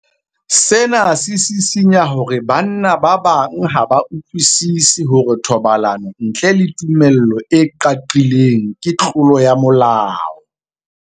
Sena se sisinya hore banna ba bang ha ba utlwisisi hore thobalano ntle le tumello e qaqileng ke tlolo ya molao.